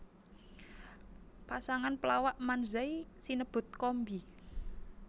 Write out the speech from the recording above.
Pasangan pelawak manzai sinebut kombi